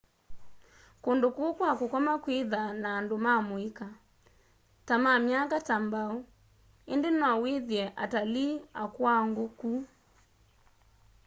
kundũ kũu kwa kũkoma kwithaa na andũ ma mũika ta ma myaka ta mbao indi no withie atalii akũuangu ku